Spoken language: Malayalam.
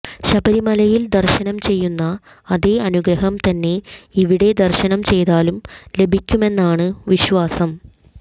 ശബരിമലയിൽ ദർശനം ചെയ്യുന്ന അതേ അനുഗ്രഹം തന്നെ ഇവിടെ ദർശനം ചെയ്താലും ലഭിക്കുമെന്നാണ് വിശ്വാസം